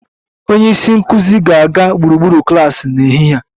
Onye isi nkụzi ga-aga gburugburu klas n'ehihie a